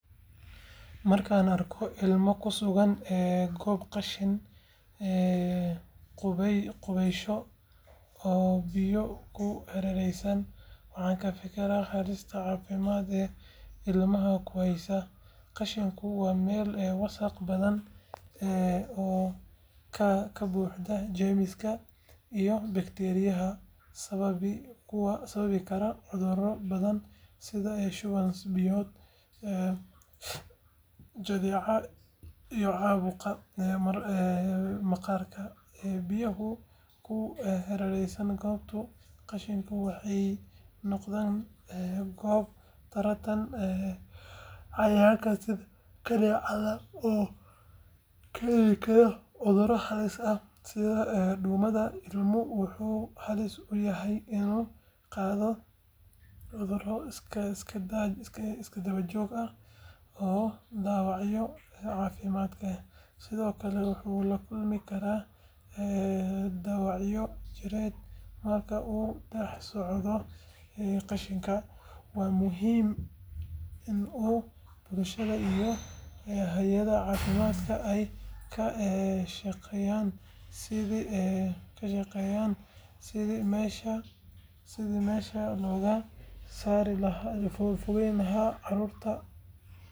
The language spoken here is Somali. Marka aan arko ilmo ku sugan goob qashin qubasho oo biyo ku hareereysan waxaan ka fikiraa halista caafimaad ee ilmahaas ku heysata. Qashinku waa meel wasakh badan leh oo ka buuxda jeermis iyo bakteeriyo sababi kara cudurro badan sida shuban biyoodka, jadeecada iyo caabuqyada maqaarka. Biyaha ku hareereysan goobta qashinka waxay noqdaan goob taranta cayayaanka sida kaneecada oo keeni kara cudurro halis ah sida duumada. Ilmuhu wuxuu halis u yahay inuu qaado cudurro isdaba joog ah oo dhaawacaya caafimaadkiisa, sidoo kale wuxuu la kulmi karaa dhaawacyo jireed marka uu dhex socdo qashinka. Waxa muhiim ah in bulshada iyo hay’adaha caafimaadka ay ka shaqeeyaan sidii meeshaas looga fogeyn lahaa carruurta.